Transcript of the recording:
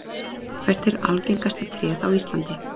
Hvert er algengasta tréð á Íslandi?